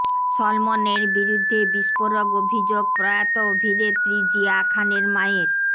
সলমনের বিরুদ্ধে বিস্ফোরক অভিযোগ প্রয়াত অভিনেত্রী জিয়া খানের মায়ের